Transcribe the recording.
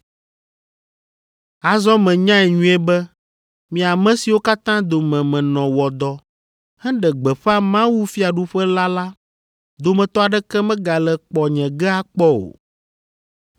“Azɔ menyae nyuie be mi ame siwo katã dome menɔ wɔ dɔ, heɖe gbeƒã mawufiaɖuƒe la la, dometɔ aɖeke megale kpɔ nye ge akpɔ o.